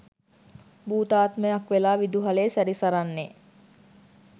භූතාත්මයක් වෙලා විදුහලේ සැරිසරන්නේ.